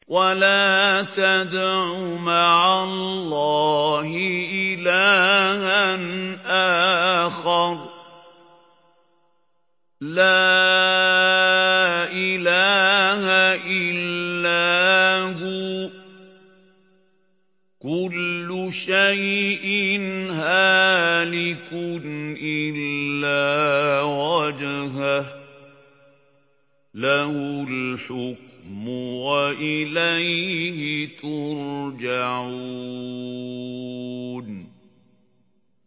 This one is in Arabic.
وَلَا تَدْعُ مَعَ اللَّهِ إِلَٰهًا آخَرَ ۘ لَا إِلَٰهَ إِلَّا هُوَ ۚ كُلُّ شَيْءٍ هَالِكٌ إِلَّا وَجْهَهُ ۚ لَهُ الْحُكْمُ وَإِلَيْهِ تُرْجَعُونَ